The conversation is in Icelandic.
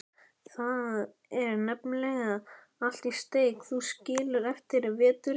Þar er nefnilega allt í steik, þú skilur, eftir veturinn.